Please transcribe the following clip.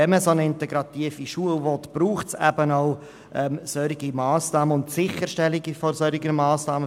Wenn man eine solche integrative Schule will, braucht es eben auch entsprechende Massnahmen sowie die Sicherstellung dieser Massnahmen.